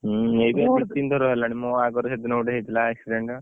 ହୁଁ ଏଇ ବା ଦି ତିନ ଥର ହେଲାଣି ମୋ ଆଗରେ ସେଦିନ ଗୋଟେ ହେଇଥିଲା accident